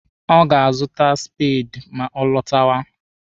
Ọ ga-azụta speedi ma ọ lọtawa.